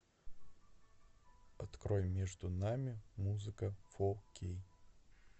открой между нами музыка фо кей